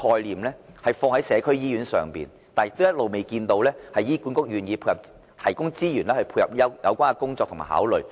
政府欲將社區醫院這概念實踐，但醫管局一直未見願意提供資源配合有關的工作。